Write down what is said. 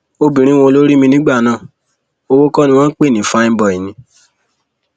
obìnrin wo ló rí mi nígbà náà owó kọ ni wọn ń pè ní fáin bói ni